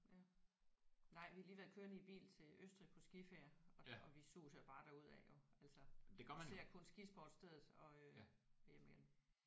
Ja nej vi har lige været i kørende i bil til Østrig på skiferie og der og vi suser bare derudad jo altså og ser kun skisportsstedet og øh og hjem igen